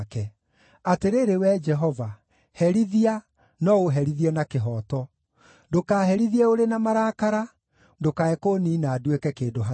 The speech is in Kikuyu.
Atĩrĩrĩ Wee Jehova, herithia, no ũherithie na kĩhooto; ndũkaherithie ũrĩ na marakara, ndũkae kũniina nduĩke kĩndũ hatarĩ.